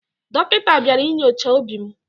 Dọkịta bịara inyocha obi m.